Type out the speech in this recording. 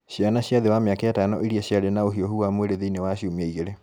Ciana cia thĩ wa mĩaka ĩtano iria ciarĩ na ũhiũhu wa mwĩrĩ thĩini wa ciumia igĩrĩ